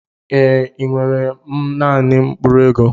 Ee enwere m naanị mkpụrụ ego.